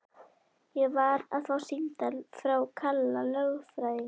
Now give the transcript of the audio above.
Ég var að fá símtal frá Kalla lögfræðingi.